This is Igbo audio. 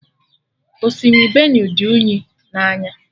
Osimiri Benue dị unyi na anya